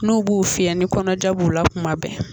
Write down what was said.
N'u b'u fiɲɛ ni kɔnɔja b'u la kuma bɛn